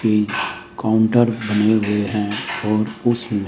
counter बने हुए हैं और उसमें--